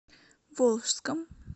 волжском